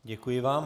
Děkuji vám.